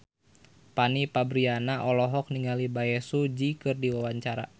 Fanny Fabriana olohok ningali Bae Su Ji keur diwawancara